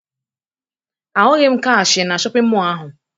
Ahụghị m kashịee na shọpịn mọọ ahụ